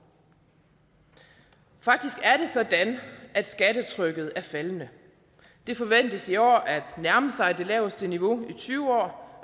faktisk er det sådan at skattetrykket er faldende det forventes i år at nærme sig det laveste niveau i tyve år